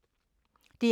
DR1